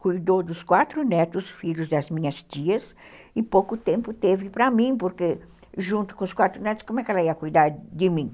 Cuidou dos quatro netos, filhos das minhas tias, e pouco tempo teve para mim, porque junto com os quatro netos, como é que ela ia cuidar de mim?